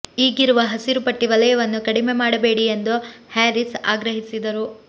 ಈಗಿರುವ ಹಸಿರು ಪಟ್ಟಿ ವಲಯವನ್ನು ಕಡಿಮೆ ಮಾಡಬೇಡಿ ಎಂದು ಹ್ಯಾರಿಸ್ ಆಗ್ರಹಿಸಿದರು